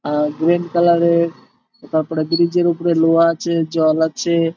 আহ green colour এর তারপরে bridge এর উপরে লোহা আছে জল আছে।